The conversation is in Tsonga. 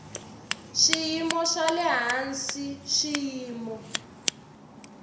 swiyimo swa le hansi swiyimo